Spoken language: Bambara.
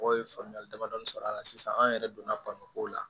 Mɔgɔw ye faamuyali damadɔɔni sɔrɔ a la sisan an yɛrɛ donna ko la